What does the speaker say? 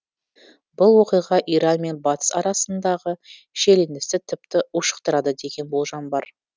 бұл оқиға иран мен батыс арасындағы шиеленісті тіпті ушықтырады деген болжам бар